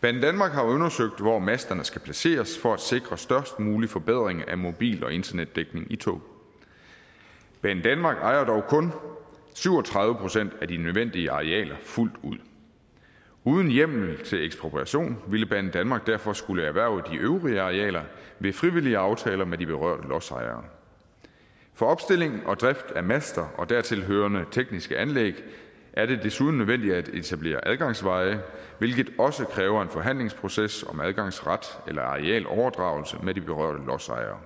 banedanmark har undersøgt hvor masterne skal placeres for at sikre størst mulig forbedring af mobil og internetdækning i tog banedanmark ejer dog kun syv og tredive procent af de nødvendige arealer fuldt ud uden hjemmel til ekspropriation ville banedanmark derfor skulle erhverve de øvrige arealer ved frivillige aftaler med de berørte lodsejere for opstilling og drift af master og dertilhørende tekniske anlæg er det desuden nødvendigt at etablere adgangsveje hvilket også kræver en forhandlingsproces om adgangsret eller arealoverdragelse med de berørte lodsejere